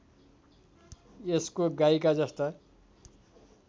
यसको गाईका जस्ता